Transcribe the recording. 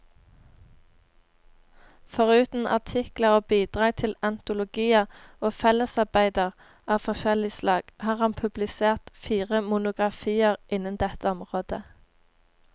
Foruten artikler og bidrag til antologier og fellesarbeider av forskjellig slag, har han publisert fire monografier innen dette området.